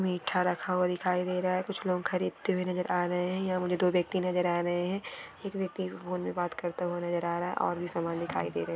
मीठा रखा हुआ दिखाई दे रहा है कुछ लोग खरीदते हुए नजर आ रहे है यह मुझे दो व्यक्ति नजर आ रहे है एक व्यक्ति फोन में बात करता हुआ नजर आ रहा है और भी समान दिखाई दे रहे।